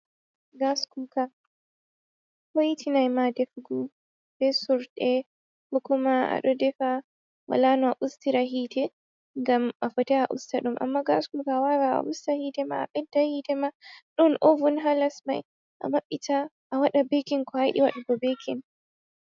Gaskuka, hoitinay ma defugo be surɗe ko kuma a ɗo defa wala no a ustira hite, gam a fotai a usta ɗum. Amma gaskuka a wawa a usta hite ma, a bedda hite ma,. Ɗon ovun ha les may a maɓɓita a waɗa bekin ko a yiɗi waɗago bekin.